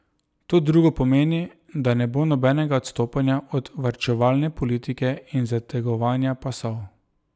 To drugo pomeni, da ne bo nobenega odstopanja od varčevalne politike in zategovanja pasov.